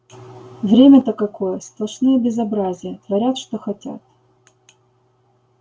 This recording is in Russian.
время-то какое сплошные безобразия творят что хотят